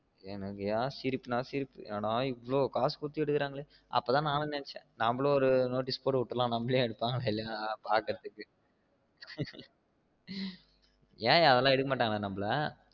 எனக்குன சிரிப்புன சிரிப்பு என்னடா இவ்ளோ காசு குடுத்து எடுக்கு ராங்கனு அப்ப தான் நானும் நினச்சேன் நம்மளும் ஒரு notice போடு ஓட்டலாம் நம்மளையும் எடுப்பாங்கனஇல்லையா பாக்குறதுக்கு ஏன்யா அதெல்லாம் எடுக்க மாட்டாங்களா நம்மல